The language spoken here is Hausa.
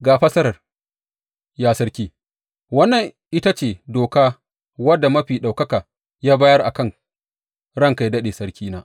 Ga fassarar, ya sarki, wannan ita ce doka wadda Mafi Ɗaukaka ya bayar a kan ranka yă daɗe, sarkina.